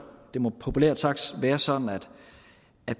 det må populært sagt være sådan at